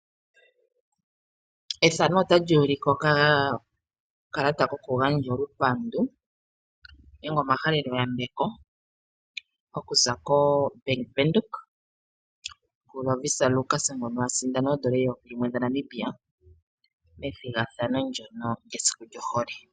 Ethano otali ulike okakalata koku gandja olupandu nenge omahalelo yambeko okuza koBank Windhoek ku Lovisa Lukas ngono asindana $1000 methigathano ndyono lyesiku lyohole.